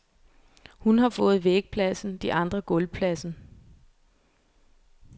Hun har fået vægpladsen, de andre gulvpladsen.